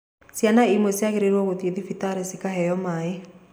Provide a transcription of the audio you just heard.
Ciana imwe ciagĩrĩirwo gũthiĩ thibitarĩ cikaheo maĩ.